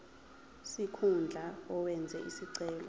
sikhundla owenze isicelo